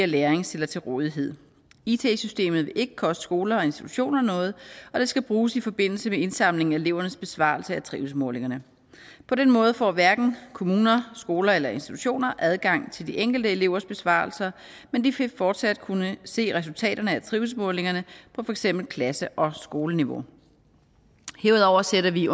læring stiller til rådighed it systemet vil ikke koste skoler og institutioner noget og det skal bruges i forbindelse med indsamling af elevernes besvarelse af trivselsmålingerne på den måde får hverken kommuner skoler eller institutioner adgang til de enkelte elevers besvarelser men de vil fortsat kunne se resultaterne er trivselsmålingerne på for eksempel klasse og skoleniveau herudover sætter vi